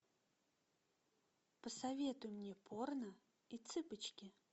посоветуй мне порно и цыпочки